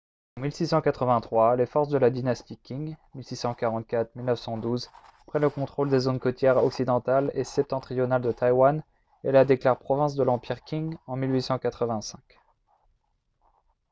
en 1683 les forces de la dynastie qing 1644-1912 prennent le contrôle des zones côtières occidentale et septentrionale de taïwan et la déclarent province de l'empire qing en 1885